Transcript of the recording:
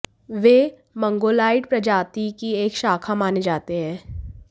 वे Mongoloid प्रजाति की एक शाखा माने जाते हैं